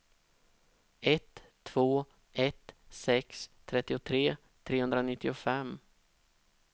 ett två ett sex trettiotre trehundranittiofem